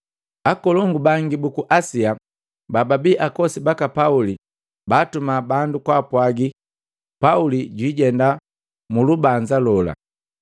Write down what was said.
Akolongu bangi buku Asia, bababi akosi baka Pauli baatuma bandu kwaapwagi Pauli jwiijenda mu lubanza gola.